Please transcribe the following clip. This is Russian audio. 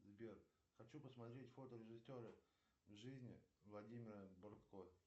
сбер хочу посмотреть фото режиссера в жизни владимира бортко